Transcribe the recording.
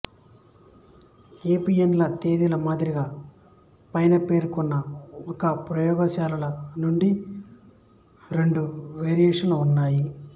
PPNA తేదీల మాదిరిగా పైన పేర్కొన్న ఒకే ప్రయోగశాలల నుండి రెండు వెర్షన్లు ఉన్నాయి